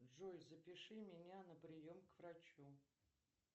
джой запиши меня на прием к врачу